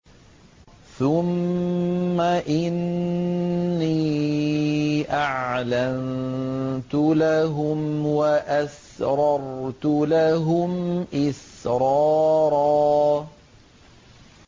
ثُمَّ إِنِّي أَعْلَنتُ لَهُمْ وَأَسْرَرْتُ لَهُمْ إِسْرَارًا